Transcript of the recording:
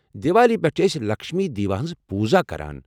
دیوالی پٮ۪ٹھ چھِ ٲسۍ لکشمی دیوی ہنٛز پوٗزا کران۔